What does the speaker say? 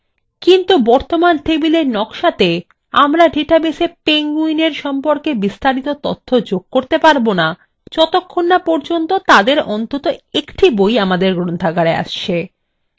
কিন্তু বর্তমান টেবিলের নক্সাতে আমরা ডেটাবেসa penguinএর সম্পর্কে বিস্তারিত তথ্য যোগ করতে পারবো now যতক্ষণ now পর্যন্ত তাদের অন্তত একটি বই গ্রন্থাগারে আসছে